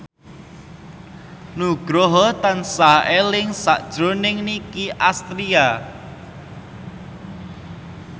Nugroho tansah eling sakjroning Nicky Astria